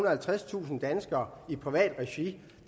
og halvtredstusind danskere i privat regi